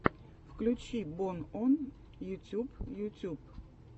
включи бон он ютьюб ютюб